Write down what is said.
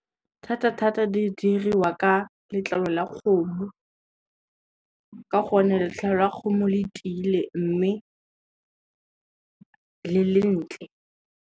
Thata-thata di diriwa ka letlalo la kgomo, ka gonne letlalo la kgomo letile mme, le le ntle.